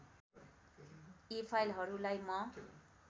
यी फाइलहरुलाई म